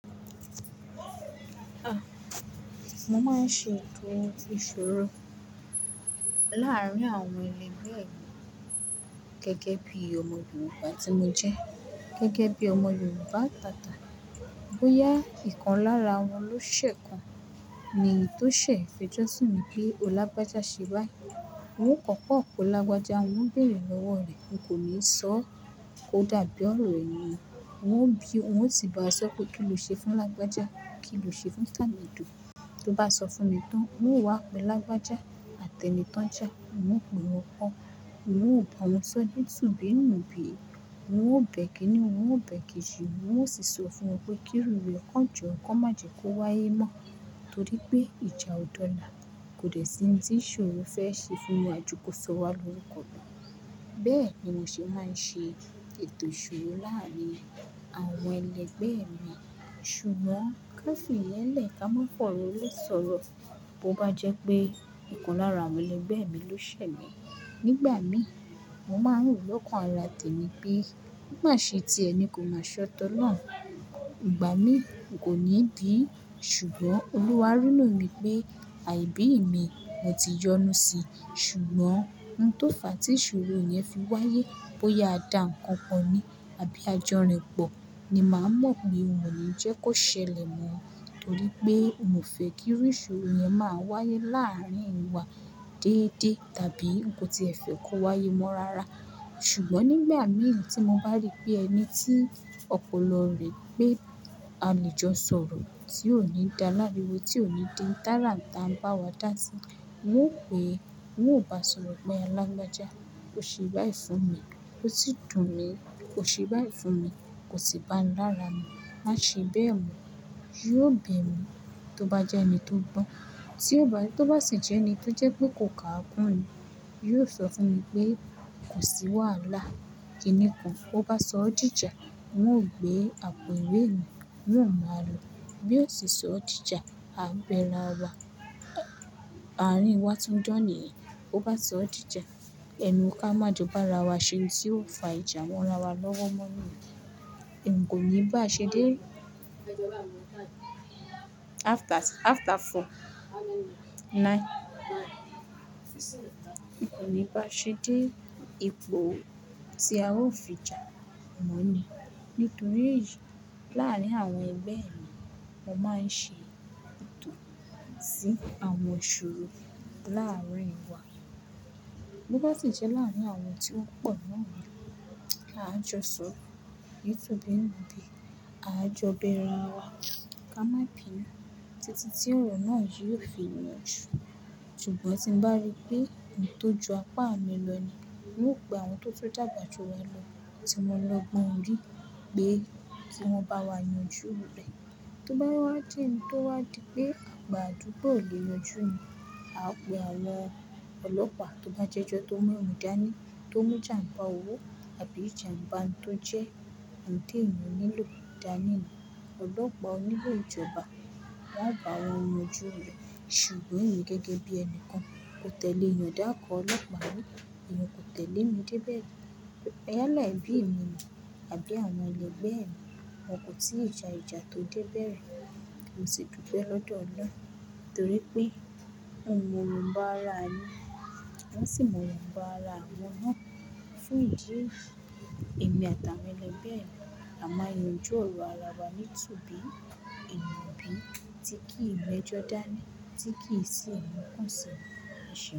Ah! Mo máa ń ṣe ètòo iṣìro láàárín àwọn ẹlẹgbẹ́ mi gẹ́gẹ́ bí ọmọ Yorùbá tí mo jẹ́, gẹ́gẹ́ bí ọmọ Yorùbá tata. Bóyá ìkan lára wọn ló ṣè kan ni tó ṣè fẹjọ́ sùnmí pé wo lágbájá ṣe bái, n ó kọ́kọ́ pe lagbaja, wọn bèèrè lọ́wọ́ rẹ̀. N kò ní sọ ọ́ ó dàbí ọ̀rọ̀ ènìyàn. Wọn ó bí i, wọn ó ti bá a sọ pé kí ló ṣe fún lagbaja, kí ló ṣe fún tàmedù. Tó bá sọ fún mi tán, n ó wá pe lagbaja àti ẹni ton já, n pe mọ gbọ, n óò bá wọn sọ ní tubí nù bí i, n ó bẹ̀e ikínni, n ó bẹ̀e kejì, n ó sì sọ fún wọn pé kí iru rẹ̀ kon jo, kon má jẹ kó wáyé mọ́ torí pé ìjà ọ̀ dọ̀là. Kò dè sí ni tí ìṣorò fẹ́ ṣe fún wa ju kó sọ wá lọ́rukọ̀ lọ. Bẹ́ẹ̀ ni mo ṣe máa ń ṣe ètò ìṣirò láàárín àwọn ẹlẹgbẹ́ mi. Ṣùgbọ́n káfi iyen lẹ̀ ká máa fọ̀ró lé sọ̀rọ̀ bó bá jẹ́ pé ìkan lára àwọn ẹlẹgbẹ́ mi ló ṣẹ̀ mi. Nígbà mí, mo máa ń rò lọ́kàn ara tèmi pé o má ṣe tí ẹ ni kò máa ṣe tọlọ́un, ìgbà mí mi kò ní bií. Ṣùgbọ́n Olúwa rí inú mi pé àìbí mi mo ti yọnu sí. Ṣùgbọ́n ohun tó fà á tí ìṣirò yẹn fi wáyé bóyá a dà nǹkan po ní, àbí ajọ́ rinpọ̀ ni màá mọ̀ pé n o ni jẹ́ kó ṣẹlẹ̀ mọ́. Torí pé mi o fẹ́ kí irú ìṣòro yẹn máa wáyé láàárín wa déédé tàbí n ko tí ẹ fẹ́ kó wáyé mọ́ rara. Ṣùgbọ́n nígbà mí tí mo bá rí pé ẹni tí ọpọlọ rẹ̀ pé a lè jọ sọ̀rọ̀ tí ò ní dá láriwo, tí ò ní dí oun tàràata bá wa dá sí, n ó pe, n ó bá sọ̀rọ̀ pé lagbaja, ó ṣe bá yìí fún mi, ó sì dùn mí púpọ̀. Ó ṣe bá yìí fún mi, kò sì bá mi lára mu. Máa ṣe bẹ́ẹ̀ mọ́, yóò bẹ̀ mí tó bá jẹ́ ẹni tó gbọ́n. Tí ó bá to ba sì jẹ́ ẹni tó jẹ́ pé kò kà á kún ni, yóò sọ fún mi pé kò sí wàhálà, kínni kan. Ó bá sọ ó dìjà, n ó gbé àpò ìwé mi, n ó máa lò ó. Bí ó sì sọ ó dìjà, a bẹ ra wa. Àárín wa tun dan ni yen, bó bá sọ ó dìjà, ẹnu ká má jọ bá ra wá ṣe ohun tí ó fà ìjà mọ lára wa lọ́wọ́ mọ́ ni yen. N kò ní bá a ṣe dé. After, after four, nine. N kò ní bá a ṣe dé ètò tí a ó fi jà mọ́ ni. Nítorí ìjà láàárín àwọn ẹgbẹ́ mi, mo máa ń ṣe ètò tí àwọn ìṣorò láàárín wa. Bo bá sì jẹ́ láàárín àwọn tí wọn pọ̀ náà ni, a jọ sọ, nítubí ńubi, a jọ bẹ ra wa ká má ké. Títí tí òrò náà yóò fi yanjú. Ṣùgbọ́n tí n bá rí pé ohun tó ju apá mi lọ ni, wọn ó pe àwọn tó tun dàgbà ju wa lọ tí mo lọ gbọ̀n ju pé kí wọ́n bá wa yanjú rẹ́. Tó bá wá jẹ́ òun tó wá dípé gbogbo àdúgbò ló yọjú, a pe àwọn ọlọ́pà, tó bá jẹ́ ẹjọ́ tó mú yẹn dání, tó mú ìjàmbá owó àbí ìjàmbá ohun tó jẹ́ ohun tí èèyàn nílò dání ọlọ́pàá onílo ìjọba wọn ó bá wọn yanjú rẹ̀. Ṣùgbọ́n emi gẹ́gẹ́ bí ẹni kan, kò tẹ̀lé ìyanda kan ọlọ́pàá mi, èèyàn kò tẹ̀lé mi débẹ̀ ri. Ẹ̀ le bí mi ni àbí àwọn ẹlẹgbẹ́ mi, wọn kò tí ìjà ìjà tó débẹ̀. Mo sì dúpẹ́ lọ́dọ̀ Ọlọ́run nítorí pé mò mọ ìwọ̀nbá ara mi, wọn sì mọ ìwọ̀nbá ara wọn ná. Fún ìdí èyí èmi àtàwọn elẹgbẹ́ mi, à maa yanjú ọ̀rọ̀ ara wa nítubí inubí tí kìí mẹ́jọ dání, tí kì í sì mu kusinu ẹ ṣeun.